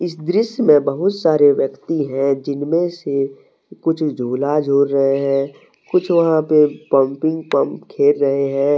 इस दृश्य में बहुत सारे व्यक्ति हैं जिनमें से कुछ झूला झूल रहे हैं। कुछ वहां पर पंपिंग पंप खेल रहे हैं।